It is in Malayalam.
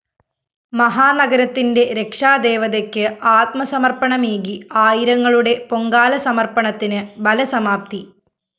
മഹാനഗരത്തിന്റെ രക്ഷാദേവതക്ക് ആത്മസമര്‍പ്പണമേകി ആയിരങ്ങളുടെ പൊങ്കാലസമര്‍പ്പണത്തിന് ഫലസമാപ്തി